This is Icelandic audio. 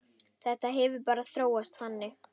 Þetta hefur bara þróast þannig.